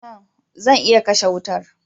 Tan! Zan iya kashe wutar.